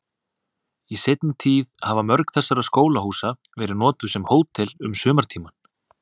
Í seinni tíð hafa mörg þessara skólahúsa verið notuð sem hótel um sumartímann.